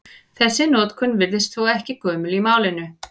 Þessi notkun virðist þó ekki gömul í málinu.